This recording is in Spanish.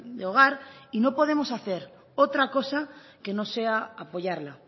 de hogar y no podemos hacer otra cosa que no sea apoyarla